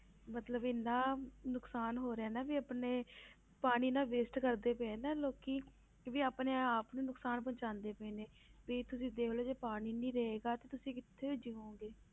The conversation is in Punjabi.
ਮਤਲਬ ਇੰਨਾ ਨੁਕਸਾਨ ਹੋ ਰਿਹਾ ਨਾ ਵੀ ਆਪਣੇ ਪਾਣੀ ਇੰਨਾ waste ਕਰਦੇ ਪਏ ਆ ਨਾ ਲੋਕੀ ਕਿ ਵੀ ਆਪਣੇ ਆਪ ਨੂੰ ਨੁਕਸਾਨ ਪਹੁੰਚਾਉਂਦੇ ਪਏ ਨੇ, ਵੀ ਤੁਸੀਂ ਦੇਖ ਲਓ ਜੇ ਪਾਣੀ ਨੀ ਰਹੇਗਾ ਤਾਂ ਤੁਸੀਂ ਕਿੱਥੇ ਜੀਓਗੇ।